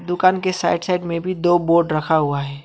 दुकान के side side में भी दो बोर्ड रखा हुआ है।